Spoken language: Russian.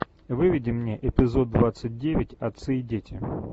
выведи мне эпизод двадцать девять отцы и дети